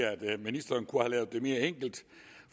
at ministeren kunne have lavet det mere enkelt